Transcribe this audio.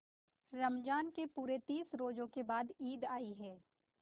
रमज़ान के पूरे तीस रोजों के बाद ईद आई है